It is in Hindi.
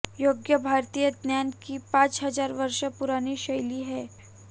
योग भारतीय ज्ञान की पांच हजार वर्ष पुरानी शैली है